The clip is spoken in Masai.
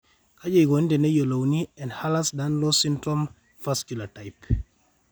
Kaji eikoni teneyiolouni Ehlers Danlos syndrome, vascular type?